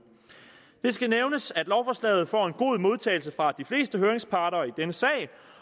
det skal nævnes at lovforslaget får en god modtagelse fra de fleste høringsparter i denne sag